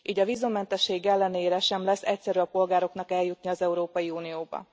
Így a vízummentesség ellenére sem lesz egyszerű a polgároknak eljutni az Európai Unióba.